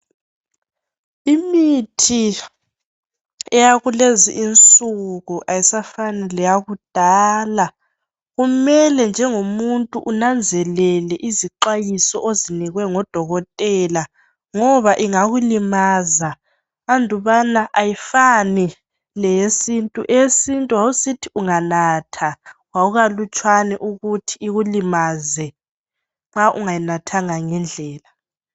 imithi eyakulezi insuku ayisafani leyakudala kumele njengomuntu unanzelele izixwayiso ozinikwe ngodokotela ngoba ingakulimaza andubana ayifani leyesintu, eyesintu wawusithi unganatha kwakukalutshwane ukuthi ikulimaze nxa ungayinathanga ngendlela